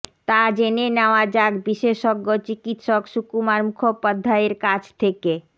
তা জেনে নেওয়া যাক বিশেষজ্ঞ চিকিৎসক সুকুমার মুখোপাধ্যায়ের কাছ থেকে